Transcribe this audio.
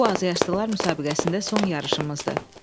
Bu azyaşlılar müsabiqəsində son yarışımızdır.